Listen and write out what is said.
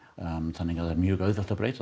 þannig að það var mjög auðvelt að breyta